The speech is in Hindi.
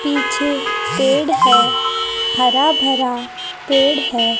पीछे पेड़ है हरा भरा पेड़ है।